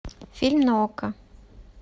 фильм на окко